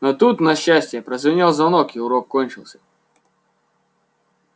но тут на счастье прозвенел звонок и урок кончился